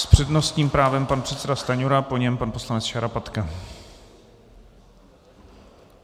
S přednostním právem pan předseda Stanjura, po něm pan poslanec Šarapatka.